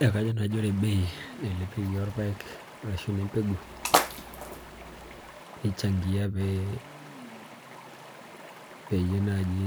Eeh kajo naji ore bei nailepieki orpaek arashu inembegu nichangia pee peyie naji